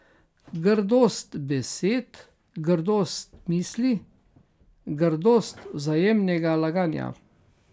Grdost besed, grdost misli, grdost vzajemnega laganja.